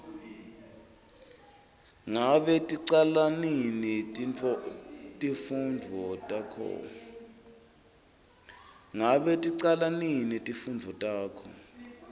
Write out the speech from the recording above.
ngabe ticala nini timfundvo takho